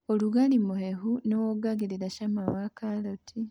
ũrugarĩ mũhehu nĩwongagĩrĩra cama wa karati.